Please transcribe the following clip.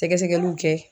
Sɛgɛsɛgɛliw kɛ